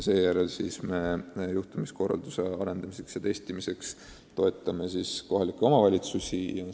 Ka peame juhtumikorralduse arendamiseks ja testimiseks toetama kohalikke omavalitsusi.